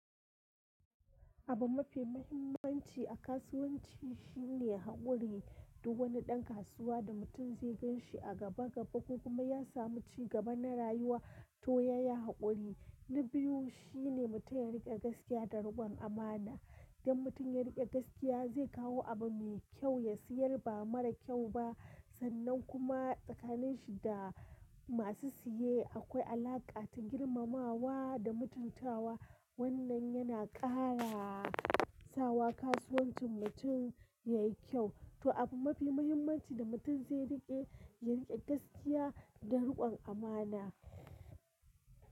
Abun mafi muhimmanci a kasuwanci shine haƙuri. Duk wani ɗan kasuwa da mutum zai gan shi a gaba gaba ko kuma ya samu cigaba na rayuwa, to ya yi haƙuri. Na biyu shi ne mutum ya riƙe gaskiya da riƙon amana. Idan mutum ya riƙe gaskiya, zai kawo abu mai kyau, ya siyar ba marar kyau ba. Sannan kuma tsakanin shi da masu siye akwai alaƙa ta girmamawa da mutuntawa. Wannan yana ƙara sawa kasuwancin mutum yayi kyau. To abu mafi muhimmanci da mutum zai riƙe, ya riƙe gaskiya da riƙon amana.